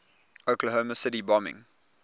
oklahoma city bombing